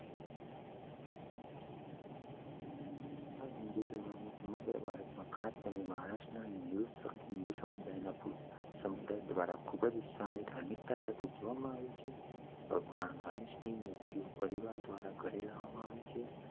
આ હિન્દુ તહેવાર સમગ્ર ભારતમાં ખાસ કરીને મહારાષ્ટ્રમાં નિરંકુશ હિન્દુ સમુદાય દ્વારા ખૂબ જ ઉત્સાહ અને ધાર્મિકતા સાથે ઉજવવામાં આવે છે. ભગવાન ગણેશની મૂર્તિઓ પરિવારો દ્વારા ઘરે લાવવામાં આવે છે